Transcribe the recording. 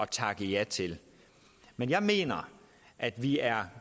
takke ja til men jeg mener at vi er